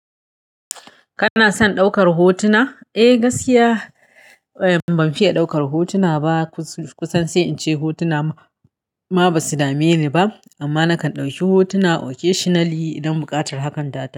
Kana son ɗaukar hotuna? Eh gaskiya. Ban fiye ɗaukar hotuna ba kusan sai in ce hotuna ma ba su dame ni ba. Amma nakan ɗauki hotuna occasionally idan buƙatar hakan ta.